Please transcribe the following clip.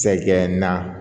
Sayi nan